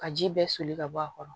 Ka ji bɛɛ soli ka bɔ a kɔrɔ